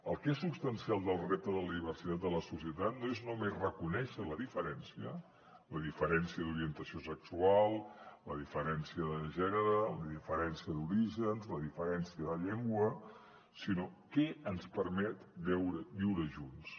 el que és substancial del repte de la diversitat de la societat no és només reconèixer la diferència la diferència d’orientació sexual la diferència de gènere la diferència d’orígens la diferència de llengua sinó què ens permet viure junts